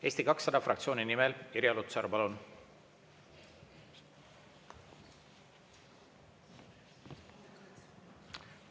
Eesti 200 fraktsiooni nimel Irja Lutsar, palun!